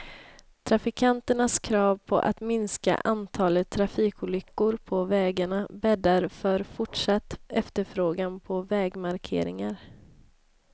Trafikanternas krav på att minska antalet trafikolyckor på vägarna bäddar för fortsatt efterfrågan på vägmarkeringar.